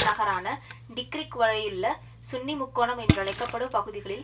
நகரான டிக்கிரிக் வரையுள்ள சுன்னி முக்கோணம் என்றழைக்க படும் பகுதிகளில்